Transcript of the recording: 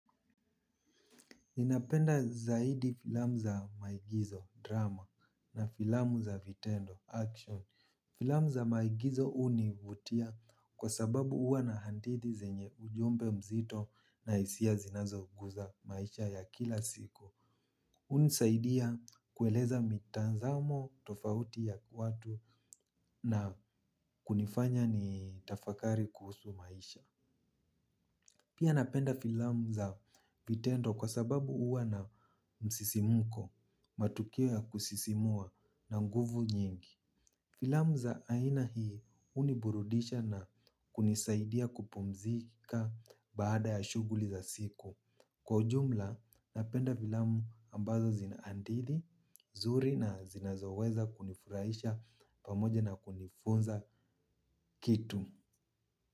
Ninapenda zaidi filamu za maigizo, drama, na filamu za vitendo, action. Filamu za maigizo univutia kwa sababu uwa na handidi zenye ujumbe mzito na isia zinazoguza maisha ya kila siku. Uni saidia kueleza mitazamo tofauti ya watu na kunifanya nitafakari kuhusu maisha. Pia napenda filamu za vitendo kwa sababu uwa na msisimuko matukio ya kusisimua na nguvu nyingi. Filamu za aina hii uniburudisha na kunisaidia kupumzika baada ya shuguli za siku. Kwa ujumla napenda filamu ambazo zinaandidi, zuri na zinazoweza kunifuraisha pamoja na kunifunza kitu.